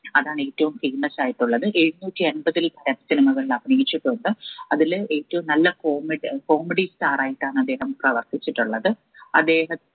അതാണ് ഏറ്റവും famous ആയിട്ടുള്ളത് എഴുനൂറ്റി അമ്പതിൽ ഉകൾ അഭിനയിച്ചിട്ടുണ്ട് അതിൽ ഏറ്റവും നല്ല comed comedy star ആയിട്ടാണദ്ദേഹം പ്രവർത്തിച്ചിട്ടുള്ളത് അദ്ദേഹം